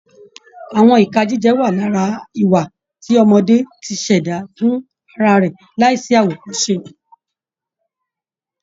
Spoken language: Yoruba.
Àwọn ìka jíjẹ wà lára ìwà tí ọmọdé ti ṣẹ̀dá fún ra rẹ̀ láìsí àwòkọ́ṣe